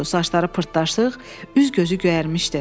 Saçları pırtlaşıq, üz-gözü göyərmişdi.